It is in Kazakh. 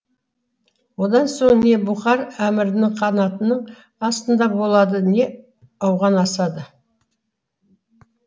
одан соң не бұхар әмірінің қанатының астында болады не ауған асады